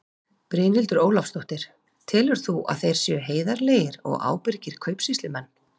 Brynhildur Ólafsdóttir: Telur þú að þeir séu heiðarlegir og ábyrgir kaupsýslumenn?